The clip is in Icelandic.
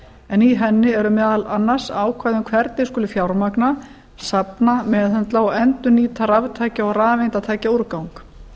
en í henni eru meðal annars ákvæði um hvernig skuli fjármagna safna meðhöndla og endurnýta raftækja og rafeindatækjaúrgang